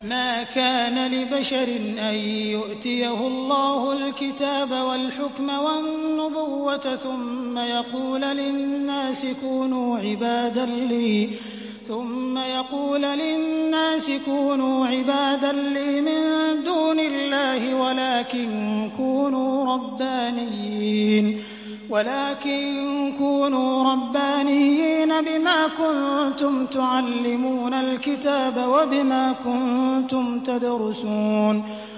مَا كَانَ لِبَشَرٍ أَن يُؤْتِيَهُ اللَّهُ الْكِتَابَ وَالْحُكْمَ وَالنُّبُوَّةَ ثُمَّ يَقُولَ لِلنَّاسِ كُونُوا عِبَادًا لِّي مِن دُونِ اللَّهِ وَلَٰكِن كُونُوا رَبَّانِيِّينَ بِمَا كُنتُمْ تُعَلِّمُونَ الْكِتَابَ وَبِمَا كُنتُمْ تَدْرُسُونَ